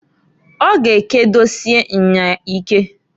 Ọ ga ekedosie nya ike.